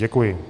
Děkuji.